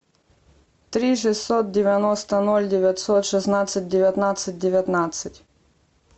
три шестьсот девяносто ноль девятьсот шестнадцать девятнадцать девятнадцать